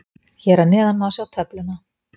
Hér að neðan má sjá töfluna.